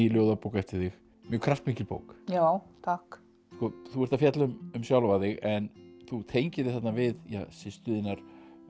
ljóðabók eftir þig mjög kraftmikil bók já takk þú ert að fjalla um sjálfa þig en þú tengir þig þarna við systur þínar